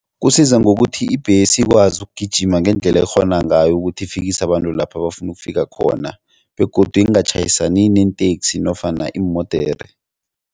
Kusiza ngokuthi ibhesi ikwazi ukugijima ngendlela ekghona ngayo ukuthi ifikise abantu lapha bafuna ukufika khona begodu ingatjhayisani neenteksi nofana iimodere.